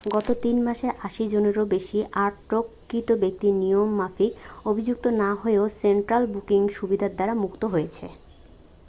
গত 3 মাসে 80 জনেরও বেশী আটককৃত ব্যক্তি নিয়ম মাফিক অভিযুক্ত না হয়েও সেন্ট্রাল বুকিং সুবিধার দ্বারা মুক্ত হয়েছেন